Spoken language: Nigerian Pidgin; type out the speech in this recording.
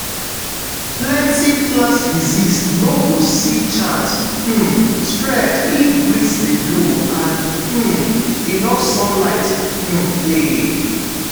plenty plant disease no go see chance um spread if breeze dey blow and um enough sunlight um dey.